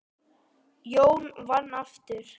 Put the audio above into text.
Jón vann aftur.